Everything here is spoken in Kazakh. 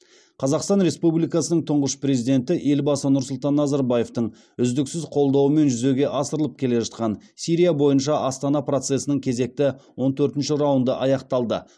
қазақстан республикасының тұңғыш президенті елбасы нұрсұлтан назарбаевтың үздіксіз қолдауымен жүзеге асырылып келе жатқан сирия бойынша астана процесінің кезекті он төртінші раунды аяқталды